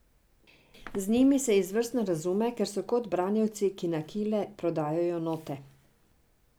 Z njimi se izvrstno razume, ker so kot branjevci, ki na kile prodajajo note.